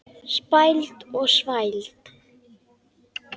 Spæld og þvæld.